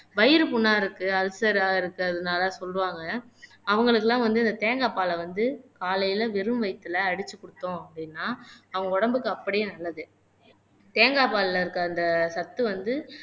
வயிறு புண்ணா இருக்கு அல்சரா இருக்கறதுனாலே சொல்லுவாங்க அவங்களுக்கெல்லாம் வந்து இந்த தேங்காய் பாலை வந்து காலையில வெறும் வயித்துல அடிச்சு குடுத்தோம் அப்படின்னா அவங்க உடம்புக்கு அப்படியே நல்லது தேங்கா பால்ல இருக்கிற அந்த சத்து வந்து